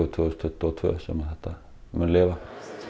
tvö þúsund tuttugu og tvö sem þetta mun lifa